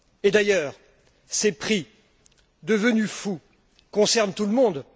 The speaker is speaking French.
D'ailleurs, ces prix, devenus fous, concernent tout le monde.